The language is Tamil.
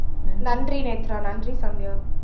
நன்றி நேத்ரா நன்றி சந்தியா